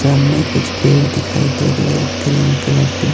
सामने कुछ पेड़ दिखाई दे रहे हैं ग्रीन कलर के--